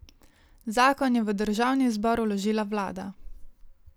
Zakon je v državni zbor vložila vlada.